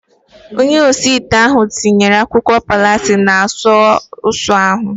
Onye osi ite ahu tinyere akwụkwọ pasili na sọọsu ahu